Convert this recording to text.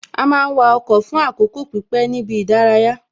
A máa wa ọkọ̀ fún àkókò pípé ní ibi ìdárayá